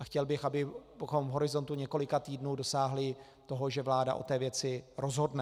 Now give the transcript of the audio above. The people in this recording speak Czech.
A chtěl bych, abychom v horizontu několika týdnů dosáhli toho, že vláda o té věci rozhodne.